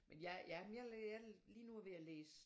Men jeg jeg lige nu er jeg ved at læse